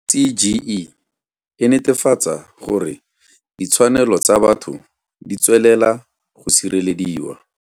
CGE e netefatsa gore ditshwanelo tsa batho ditswelela go sirelediwa.